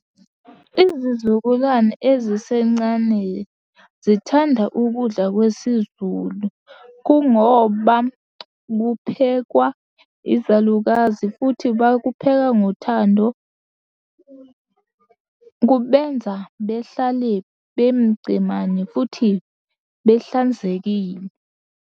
Izizukulwane ezisencane zithanda ukudla kwesizulu kungoba kuphekwa izalukazi futhi bakupheka ngothando. Kubenza behlale bemucemane futhi behlanzekile.